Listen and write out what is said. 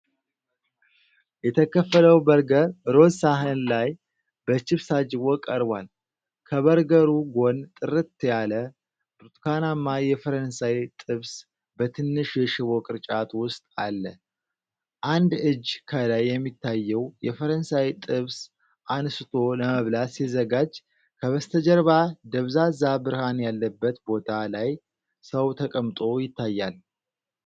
የተከፈለው በርገር ሮዝ ሳህን ላይ በቺፕስ ታጅቦ ቀርቧል። ከበርገሩ ጎን ጥርት ያለ ብርቱካናማ የፈረንሳይ ጥብስ በትንሽ የሽቦ ቅርጫት ውስጥ አለ። አንድ እጅ ከላይ የሚታየው የፈረንሳይ ጥብስ አንስቶ ለመብላት ሲዘጋጅ፤ ከበስተጀርባ ደብዛዛ ብርሃን ያለበት ቦታ ላይ ሰው ተቀምጦ ይታያል።